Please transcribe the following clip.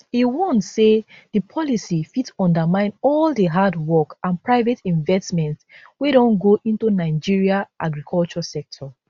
e warn say di policy fit undermine all di hard work and private investments wey don go into nigeria agriculture sector